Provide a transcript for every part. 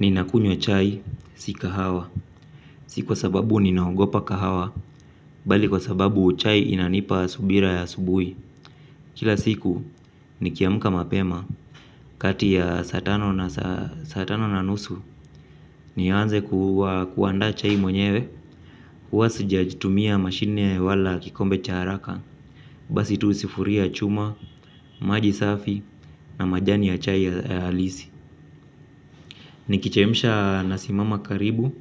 Ninakunywa chai, si kahawa. Si kwa sababu ninaogopa kahawa. Bali kwa sababu chai inanipa subira ya asubui. Kila siku, nikiamuka mapema. Kati ya satano na satano na nusu nianze kuanda chai mwenyewe huwasi sijajitumia mashine wala kikombe charaka. Basi tu sufuria chuma, maji safi na majani ya chai ya halisi. Nikichemsha nasimama karibu.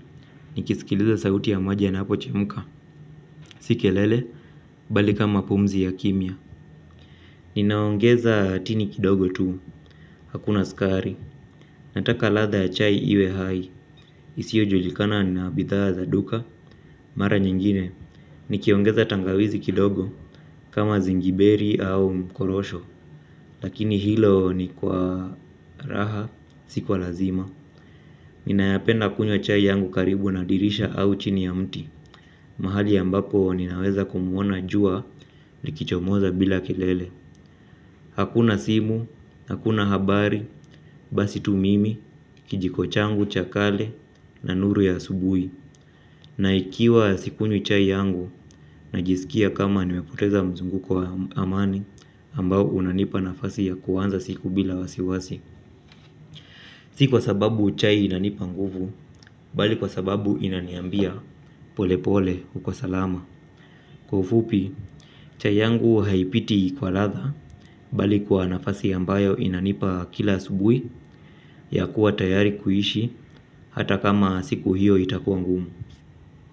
Nikisikiliza sauti ya maji yanapo chemuka. Si kelele, bali kama pumzi ya kimya. Ninaongeza tini kidogo tu. Hakuna sukari. Nataka ladha ya chai iwe hai isiyo julikana na bidha za duka. Mara nyingine nikiongeza tangawizi kidogo kama zingiberi au mkorosho. Lakini hilo ni kwa raha siku kwa lazima. Ninayapenda kunywa chai yangu karibu na dirisha au chini ya mti. Mahali ambapo ninaweza kumuona jua likichomoza bila kilele. Hakuna simu, hakuna habari, basi tu mimi, kijiko changu, cha kale, na nuru ya asubui na ikiwa sikunywi chai yangu, najisikia kama nimepoteza mzunguko wa amani ambao unanipa nafasi ya kuanza siku bila wasiwasi. Si kwa sababu chai inanipa nguvu, bali kwa sababu inaniambia pole pole uko salama. Kwa ufupi, chai yangu haipiti kwa ladha bali kwa nafasi ambayo inanipa kila asubuhi ya kuwa tayari kuishi hata kama siku hiyo itakua ngumu.